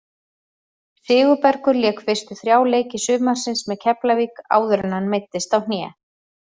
Sigurbergur lék fyrstu þrjá leiki sumarsins með Keflavík áður en hann meiddist á hné.